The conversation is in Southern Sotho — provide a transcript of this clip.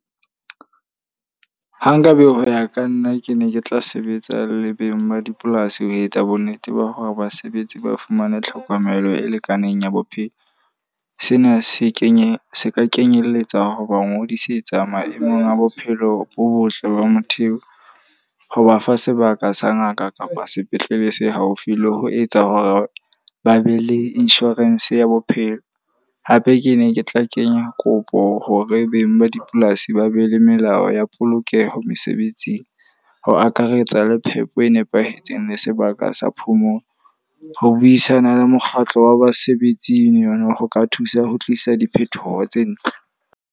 Ha nkabe ho ya ka nna ke ne ke tla sebetsa le beng ba dipolasi ho etsa bo nnete ba hore basebetsi ba fumane tlhokomelo e lekaneng ya bophelo. Sena se kenya se ka kenyelletsa hoba ngodisetsa maemong a bophelo bo botle ba motho eo. Ho ba fa sebaka sa ngaka kapa sepetlele se haufi le ho etsa hore ba be le insurance ya bophelo. Hape ke ne ke tla kenya kopo hore beng ba dipolasi ba be le melao ya polokeho mesebetsing. Ho akaretsa le phepo e nepahetseng le sebaka sa phomolo. Ho buisana le mokgatlo wa basebetsing yona ho ka thusa ho tlisa diphethoho tse ntle.